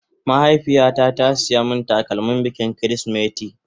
Mahaifiya ta ta siya min takalmin bikin kirisimeti